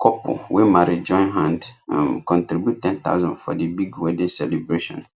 couple wey marry join hand um contribute 10000 for the big wedding celebration